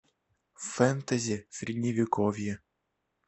фэнтези средневековье